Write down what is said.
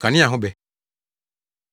Kanea Ho Bɛ